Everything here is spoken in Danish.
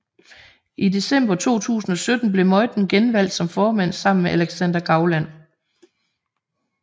I december 2017 blev Meuthen genvalgt som formand sammen med Alexander Gauland